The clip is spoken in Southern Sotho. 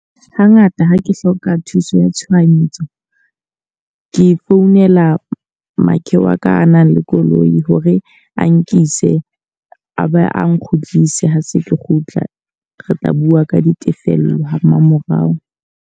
Ha ngata ha ke hloka thuso ya tshohanyetso. Ke founela makhe wa ka a nang le koloi hore a nkise a be a nkgutlise ha se ke kgutla. Re tla bua ka ditefello ha mmamorao.